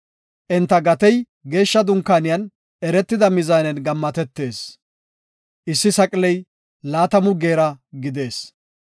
Enta gatey geeshsha dunkaaniyan eretida mizaanen gammatetees. (Issi saqiley laatamu Geera gidees).